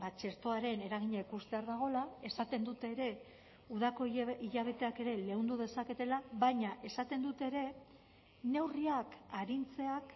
txertoaren eragina ikustear dagoela esaten dute ere udako hilabeteak ere leundu dezaketela baina esaten dute ere neurriak arintzeak